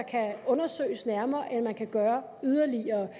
kan undersøges nærmere eller som man kan gøre yderligere